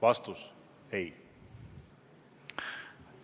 Vastus on: ei hakka.